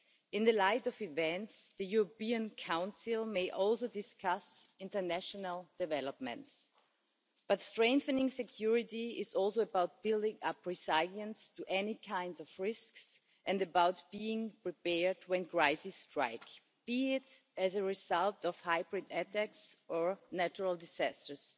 In the light of events, the European Council may also discuss international developments, but strengthening security is also about building up resilience to any kind of risks and being prepared when crises strike, be it as a result of hybrid attacks or natural disasters.